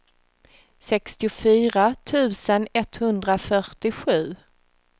sextiofyra tusen etthundrafyrtiosju